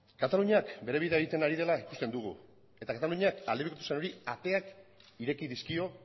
kataluniak bere bidea egiten ari dela ikusten dugu eta kataluniak aldebikotasunari ateak ireki dizkio